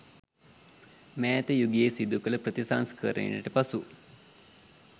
මෑත යුගයේ සිදු කළ ප්‍රතිසංස්කරණයට පසු